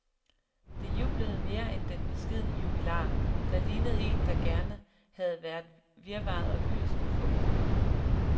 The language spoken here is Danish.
De jublede mere end den beskedne jubilar, der lignede en, der gerne havde været virvaret og hyldesten foruden.